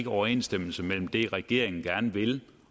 overensstemmelse mellem det regeringen gerne vil